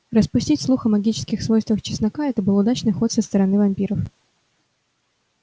распустить слух о магических свойствах чеснока это был удачный ход со стороны вампиров